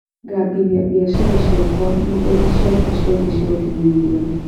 cambĩthĩa bĩacara cĩakwa nendaĩnĩ cĩakwa cĩothe cia ũkinyaniria